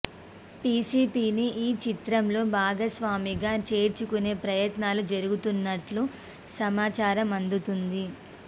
పీసీపీని ఈ చిత్రంలో భాగస్వామిగా చేర్చుకునే ప్రయత్నాలు జరుగుతున్నట్లు సమాచారం అందుతోంది